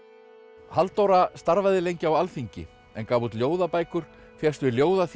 Halldóra starfaði lengi á Alþingi en gaf út ljóðabækur fékkst við ljóðaþýðingar